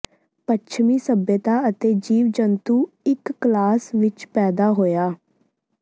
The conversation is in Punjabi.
ਪੱਛਮੀ ਸਭਿਅਤਾ ਅਤੇ ਜੀਵ ਜੰਤੂ ਇੱਕ ਕਲਾਸ ਵਿੱਚ ਪੈਦਾ ਹੋਇਆ